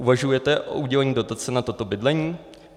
Uvažujete o udělení dotace na toto bydlení?